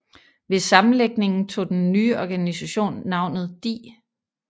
Ved sammenlægningen tog den nye organisation navnet DI